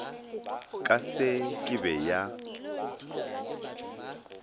ka se ke be ya